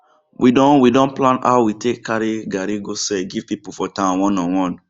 we don we don plan how we take carri garri go sell give pipu for town one on one